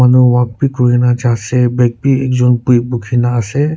manu walk b kuri na ja ase bag b ekjun bu bukhi na ase.